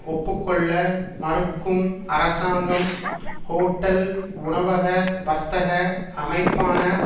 ஒப்பு கொள்ள மறுக்கும் அரசாங்கம் ஹோட்டல்உணவக வர்த்தக அமைப்பான